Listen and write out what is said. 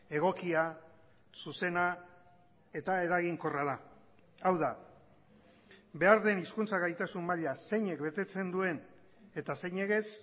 egokia zuzena eta eraginkorra da hau da behar den hizkuntza gaitasun maila zeinek betetzen duen eta zeinek ez